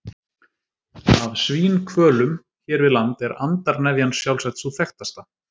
Af svínhvölum hér við land er andarnefjan sjálfsagt sú þekktasta.